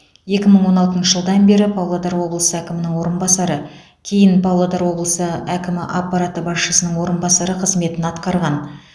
екі мың он алтыншы жылдан бері павлодар облысы әкімінің орынбасары кейін павлодар облысы әкімі аппараты басшысының орынбасары қызметін атқарған